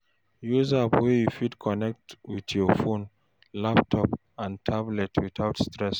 Use app wey you fit connect with your phone, laptop and tablet without stress